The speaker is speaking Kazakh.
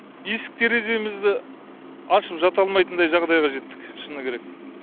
есік тереземізді ашып жата алмайтындай жағдайға жеттік шыны керек